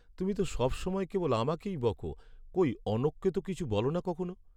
তুমি তো সবসময় কেবল আমাকেই বকো, কই অনঘকে তো কিছু বলো না কখনও!